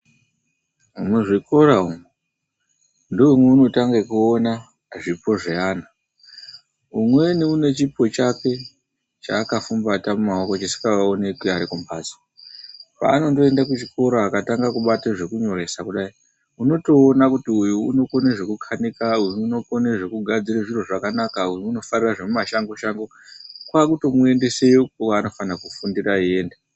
Muzvikora umu ndoomweunotanga kuona zvipo zveana umweni unechipo chake chaakafumbata mumaoko chisikaoneki neari kumhatso Paanondoende kuchikoro akatanga kubata zvekunyoresa kudai, unotoone kuti uyu unokona zvekukanika uyu unokona zvekugadzira zviro zvakanaka, uyu unofarira zvemumashango shango. Kwaakutomuendeseyo kwaakafana kufundira eienda.